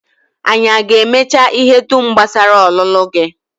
Anyị aga-emecha ihe dum gbasara ọlụlụ gị?